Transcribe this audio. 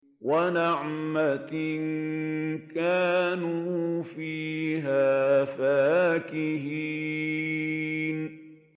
وَنَعْمَةٍ كَانُوا فِيهَا فَاكِهِينَ